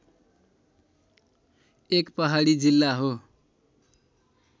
एक पहाडी जिल्ला हो